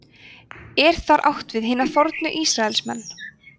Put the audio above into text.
er þar átt við hina fornu ísraelsmenn